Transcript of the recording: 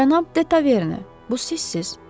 Cənab Detaverne, bu sizsiz?